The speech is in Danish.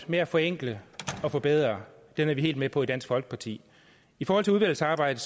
med at forenkle og forbedre er vi helt med på i dansk folkeparti i forhold til udvalgsarbejdet